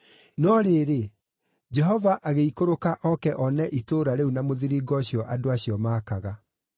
No rĩrĩ, Jehova agĩikũrũka oke one itũũra rĩu na mũthiringo ũcio andũ acio maakaga.